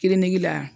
Kiriniki la